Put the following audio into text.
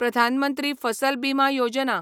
प्रधान मंत्री फसल बिमा योजना